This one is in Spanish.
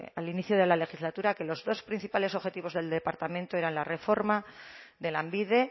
al inicio de la legislatura que los dos principales objetivos del departamento eran la reforma de lanbide